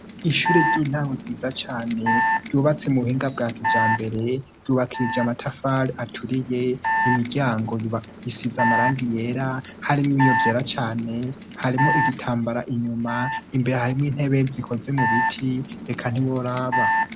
Ishure ry'intamwe riza cane ryubatse mu buhinga bwa kija mbere ryubakije amatafali aturiye imiryango isiza amaranga yera harimo ibiyovyera cane harimo igitambara inyuma imbere harimo intebe zikoze mu biti reka ntiworaba.